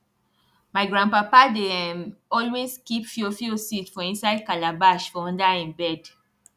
my grandpapa dey um always keep fiofio seed for inside calabash for under hin bed